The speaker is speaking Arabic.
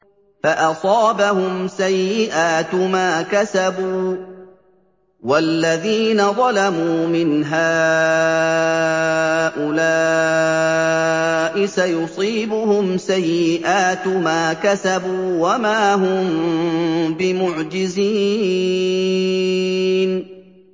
فَأَصَابَهُمْ سَيِّئَاتُ مَا كَسَبُوا ۚ وَالَّذِينَ ظَلَمُوا مِنْ هَٰؤُلَاءِ سَيُصِيبُهُمْ سَيِّئَاتُ مَا كَسَبُوا وَمَا هُم بِمُعْجِزِينَ